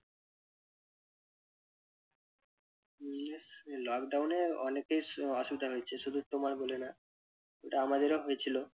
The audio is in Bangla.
lockdown এ অনেকের সু~ অসুবিধা হয়েছে শুধু তোমার বলে না ওটা আমাদেরও হয়েছিল।